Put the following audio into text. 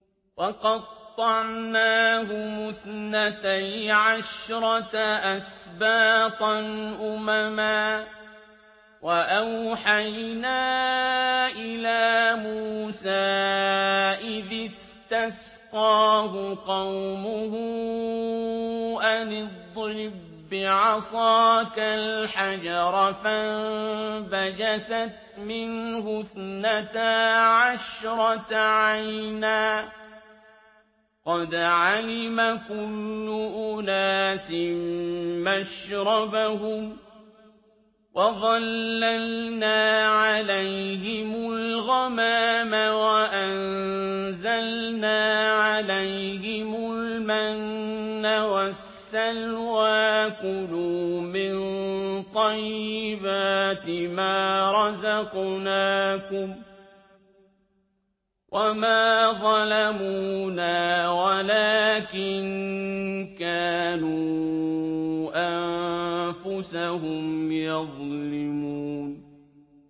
وَقَطَّعْنَاهُمُ اثْنَتَيْ عَشْرَةَ أَسْبَاطًا أُمَمًا ۚ وَأَوْحَيْنَا إِلَىٰ مُوسَىٰ إِذِ اسْتَسْقَاهُ قَوْمُهُ أَنِ اضْرِب بِّعَصَاكَ الْحَجَرَ ۖ فَانبَجَسَتْ مِنْهُ اثْنَتَا عَشْرَةَ عَيْنًا ۖ قَدْ عَلِمَ كُلُّ أُنَاسٍ مَّشْرَبَهُمْ ۚ وَظَلَّلْنَا عَلَيْهِمُ الْغَمَامَ وَأَنزَلْنَا عَلَيْهِمُ الْمَنَّ وَالسَّلْوَىٰ ۖ كُلُوا مِن طَيِّبَاتِ مَا رَزَقْنَاكُمْ ۚ وَمَا ظَلَمُونَا وَلَٰكِن كَانُوا أَنفُسَهُمْ يَظْلِمُونَ